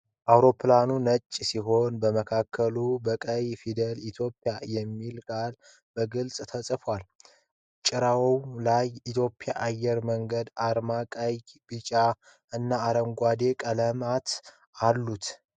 አውሮፕላኑ ነጭ ሲሆን በመካከሉ በቀይ ፊደላት "Ethiopian" የሚለው ቃል በግልጽ ተጽፏል። ጭራው ላይ የኢትዮጵያ አየር መንገድ አርማ ቀይ፣ ቢጫና አረንጓዴ ቀለም አለው።